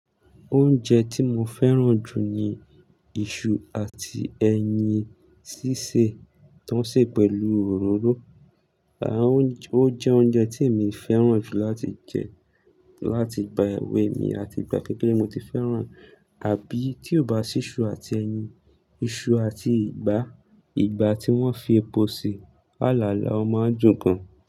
Oúnjẹ tí mo fẹ́ràn jù ni iṣu àti ẹyin sísè, tó ń sè pẹ̀lú òróró. And, ó jẹ́ oúnjẹ tí èmi fẹ́ràn jù láti jẹ, láti gba ewé mi àti ìgbà kékeré ni mo ti fẹ́ràn àbí tí ó bá sì iṣu àti ẹyin, iṣu àti ìgbá. Ìgbá tí wọ́n fi epo sè. Àlàálàá ọmọ ń dùn gan.